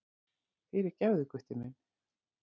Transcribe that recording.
Fyrirgefðu, Gutti minn.